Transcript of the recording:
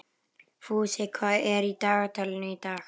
Fúsi, hvað er í dagatalinu í dag?